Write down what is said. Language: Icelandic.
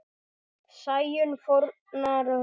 Sæunn fórnar höndum.